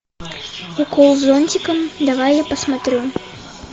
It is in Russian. укол зонтиком давай я посмотрю